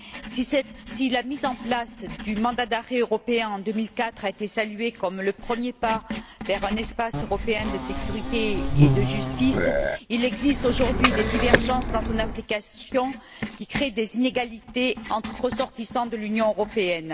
Si la mise en place du mandat d'arrêt européen, en 2004, a été saluée comme le premier pas vers un espace européen de sécurité et de justice, il existe aujourd'hui des divergences dans son application qui créent des inégalités entre ressortissants de l'Union européenne.